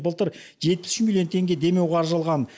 былтыр жетпіс үш миллион теңге демеу қаржы алған